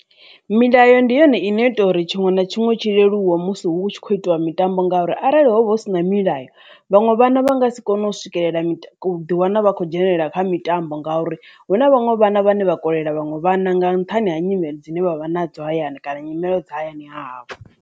Milayo ndi yone ino ita uri tshiṅwe na tshiṅwe tshi leluwe musi hu tshi khou itiwa mitambo ngauri arali hovha hu si na milayo vhaṅwe vhana vha nga si kone u swikelela ḓiwana vha khou dzhenelela kha mitambo ngauri hu na vhaṅwe vhana vhane vha kolela vhaṅwe vhana nga nṱhani ha nyimele dzine vha vha na dzo hayani kana nyimelo dza hayani hahavho.